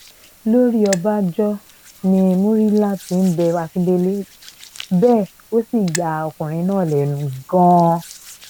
lójú ọbànjọ́ ni murila ti ń bẹ akíndélé bẹ́ẹ̀ ó sì ya ọkùnrin náà lẹ́nu gan-an